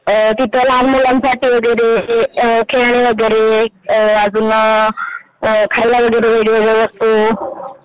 अ तिथे लहान मुलांसाठी वैगेरे खेळणी वगैरे अजून अ खायला वगैरे